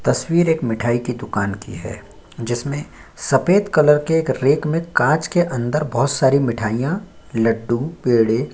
तस्वीर एक मिठाई की दुकान की है जिसमें सफेद कलर के एक रैक में कांच के अंदर बहुत-सारी मिठाइयां लड्डू पेड़े --